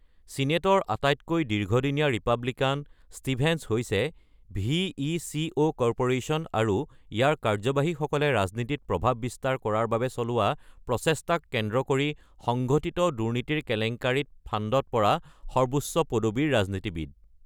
ছিনেটৰ আটাইতকৈ দীৰ্ঘদিনীয়া ৰিপাব্লিকান, ষ্টিভেন্স হৈছে ভি.ই.চি.ও. কৰ্প’ৰেশ্যন আৰু ইয়াৰ কাৰ্যবাহীসকলে ৰাজনীতিত প্ৰভাৱ বিস্তাৰ কৰাৰ বাবে চলোৱা প্ৰচেষ্টাক কেন্দ্ৰ কৰি সংঘটিত দুৰ্নীতিৰ কেলেংকাৰীত ফান্দত পৰা সৰ্বোচ্চ পদবীৰ ৰাজনীতিবিদ।